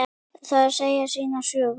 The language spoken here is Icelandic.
Það segir sína sögu.